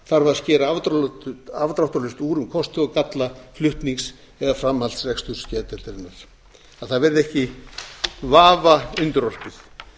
þar að skera afdráttarlaust úr um kosti og galla flutnings eða framhaldsreksturs réttargeðdeildarinnar að það verði ekki vafa undirorpið þetta